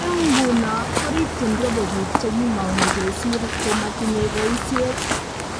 Eng nguno ko rikyin robo bik che kimong'u kesir ko matinye boisiet.